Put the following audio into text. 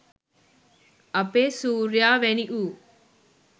අපේ සූර්යයා වැනි වූ